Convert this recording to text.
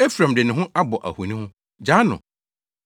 Efraim de ne ho abɔ ahoni ho; Gyaa no!